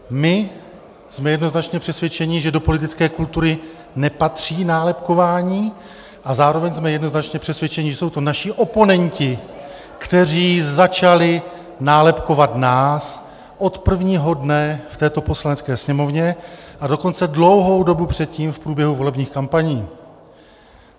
My jsme jednoznačně přesvědčeni, že do politické kultury nepatří nálepkování, a zároveň jsme jednoznačně přesvědčeni, že jsou to naši oponenti, kteří začali nálepkovat nás od prvního dne v této Poslanecké sněmovně, a dokonce dlouhou dobu předtím v průběhu volebních kampaní.